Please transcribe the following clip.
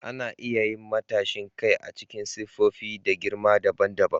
Ana iya yin matashin kai a cikin siffofi da girma daban daban.